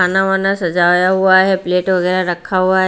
खाना वाना सजाया हुआ है प्लेट वगैरह रखा हुआ है।